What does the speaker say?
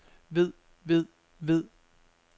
ved ved ved